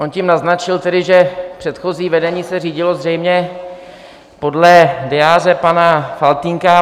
On tím naznačil tedy, že předchozí vedení se řídilo zřejmě podle diáře pana Faltýnka.